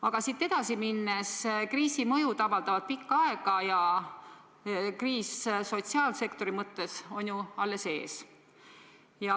Aga siit edasi minnes: kriisi mõjud avalduvad pikka aega ja kriis sotsiaalsektori mõttes on ju alles ees.